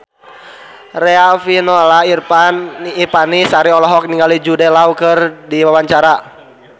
Riafinola Ifani Sari olohok ningali Jude Law keur diwawancara